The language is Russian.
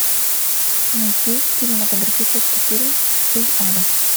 найти кинематографический фильм из ада